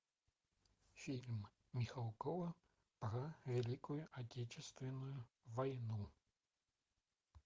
фильм михалкова про великую отечественную войну